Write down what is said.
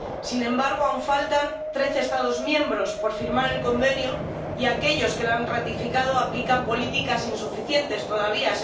Sin embargo, aún faltan trece Estados miembros por firmar el Convenio, y aquellos que lo han ratificado aplican políticas insuficientes todavía.